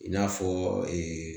I n'a fɔ